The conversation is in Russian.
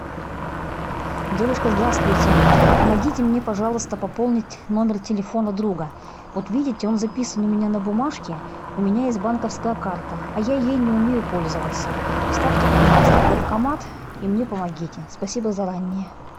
девушка здравствуйте помогите мне пожалуйста пополнить номер телефона друга вот видите он записан у меня на бумажке у меня есть банковская карта а я ей не умею пользоваться вставьте пожалуйста в банкомат и мне помогите спасибо заранее